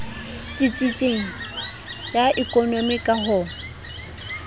tsitsitseng ya ekonomi ka ho